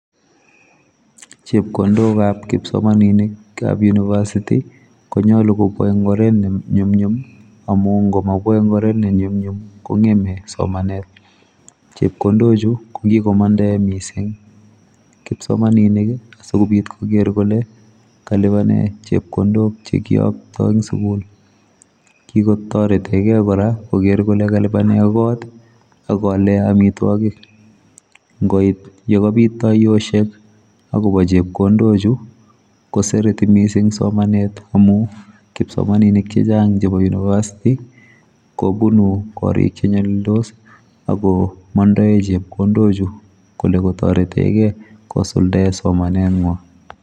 chepkondokap kipsomaniikap university konyalu kobwa eng oret ne nyumnyum amu ngomabwa eng oret ne nyumnyum kongeme somanet chepkondochu kokikomandae mising kipsomaninik asikopit koker kole kalipane chepkondok chekiyoktoi eng sukul kikotorete kei kora koker kole kalibane kot akoale amitwokik ngoit yekabit tayosiek akobo chepkondochu kosereti mising ing somanet amu kipsomaninik chechang chebo university kobuno korik chenyalildos akomondoe cgepkondochu kole kotoretekei kosuldae somanetnywa.